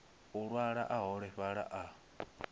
a lwala a holefhala a